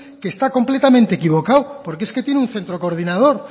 que está completamente equivocado porque es que tiene un centro coordinación